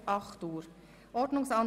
für Fraktionssprecher/-innen – 2 Min.